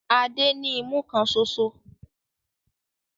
Adé ní imú kan ṣoṣo.